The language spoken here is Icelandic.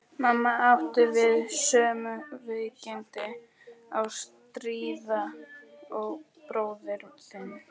Mamma átti við sömu veikindi að stríða og bróðir þinn.